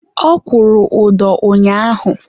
ọ kwụrụ ụdọ ụnyaahụ.